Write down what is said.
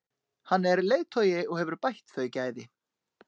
Hann er leiðtogi og hefur bætt þau gæði.